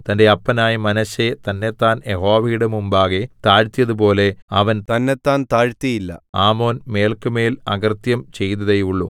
തന്റെ അപ്പനായ മനശ്ശെ തന്നെത്താൻ യഹോവയുടെ മുമ്പാകെ താഴ്ത്തിയതു പോലെ അവൻ തന്നെത്താൻ താഴ്ത്തിയില്ല ആമോൻ മേല്ക്കുമേൽ അകൃത്യം ചെയ്തതേയുള്ളു